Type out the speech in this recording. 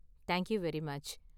Thank you very much!